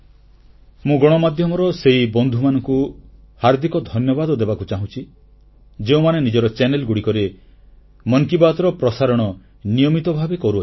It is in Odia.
ମୁଁ ଗଣମାଧ୍ୟମର ସେହି ବନ୍ଧୁମାନଙ୍କୁ ହାର୍ଦ୍ଦିକ ଧନ୍ୟବାଦ ଦେବାକୁ ଚାହୁଁଛି ଯେଉଁମାନେ ନିଜର ଚାନେଲରେ ମନ କି ବାତ୍ର ପ୍ରସାରଣ ନିୟମିତ ଭାବେ କରୁଛନ୍ତି